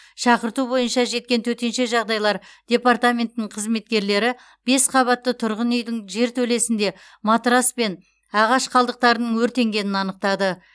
шақырту бойынша жеткен төтенше жағдайлар департаментінің кқызметкерлері бес қабатты тұрғын үйдің жертөлесінде матрас пен ағаш қалдықтарының өртенгенін анықтады